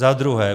Za druhé.